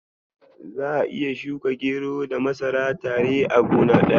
Za'a iya shuka gero da masara tare a gona daya.